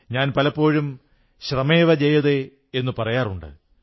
ഞാൻ പലപ്പോഴും ശ്രമേവ ജയതേ എന്നു പറയാറുണ്ട്